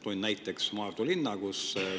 Toon näiteks Maardu linna.